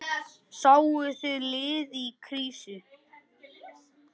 Sáuð þið lið í krísu?